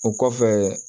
O kɔfɛ